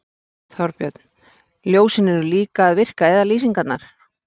Þorbjörn: Ljósin eru líka að virka eða lýsingarnar?